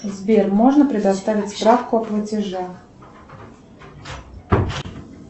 сбер можно предоставить справку о платеже